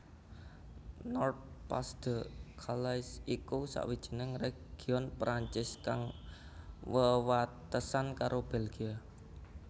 Nord Pas de Calais iku sawijining région Prancis kang wewatesan karo Belgia